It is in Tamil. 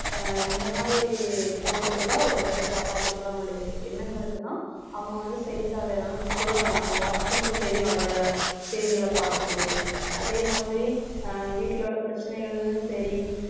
அஹ் இந்த மாதிரி போட்டிருந்தா ஒருவேளை காப்பாத்திருக்கலாம் எண்ணங்களுக்குதான் அவங்க வந்து செய்தித்தாள் சொல்றாங்க நம்ம வாசிக்கும்போது தெரியும் அதுல உள்ள செய்திகளை பார்க்கும் போதே அதே மாதிரி அஹ் வீட்டுல உள்ள பிரச்சனைகளும் சரி